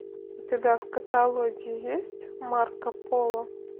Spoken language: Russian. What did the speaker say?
у тебя в каталоге есть марко поло